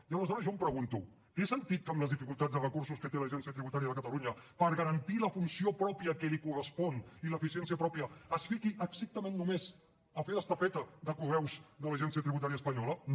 i aleshores jo em pregunto té sentit que amb les dificultats de recursos que té l’agència tributària de catalunya per garantir la funció pròpia que li correspon i l’eficiència pròpia es fiqui estrictament només a fer d’estafeta de correus de l’agència tributària espanyola no